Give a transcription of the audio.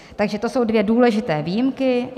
Takže to jsou dvě důležité výjimky.